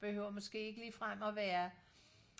behøver måske ikke lige frem og være